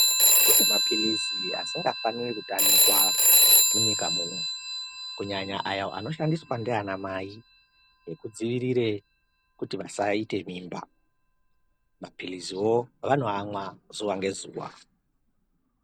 Kune maphilizi asingafaniri kutamikwa munyika muno, kunyanya ayo anoshandiswa ndiana mai ekudzivirire kuti vasaite mimba, maphiliziwo vanoamwa zuwa ngezuwa.